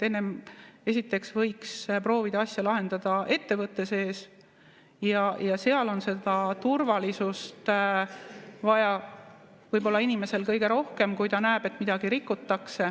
Esiteks võiks proovida asja lahendada ettevõtte sees ja seal on seda turvalisust inimesel võib-olla kõige rohkem vaja, kui ta näeb, et midagi rikutakse.